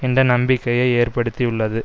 என்ற நம்பிக்கையை ஏற்படுத்தியுள்ளது